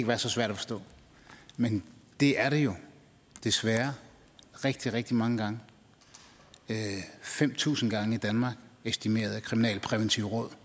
være så svært at forstå men det er det jo desværre rigtig rigtig mange gange fem tusind gange i danmark estimerer det kriminalpræventive råd